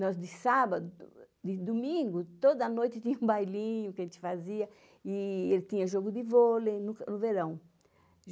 Nós de sábado, de domingo, toda noite tinha um bailinho que a gente fazia e ele tinha jogo de vôlei no verão.